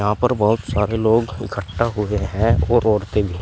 यहां पर बहुत सारे लोग इकट्ठा हुए हैं और औरतें भी।